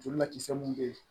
Joli lakisɛ mun be yen